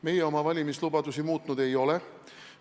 Meie oma valimislubadusi muutnud ei ole.